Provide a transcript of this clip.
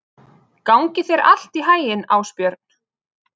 Gangi þér allt í haginn, Ásbjörn.